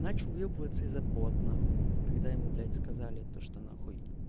начали выебываться из за забот на хуй когда ему блять сказали то что на хуй